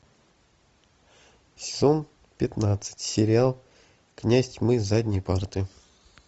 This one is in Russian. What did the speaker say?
сезон пятнадцать сериал князь тьмы с задней парты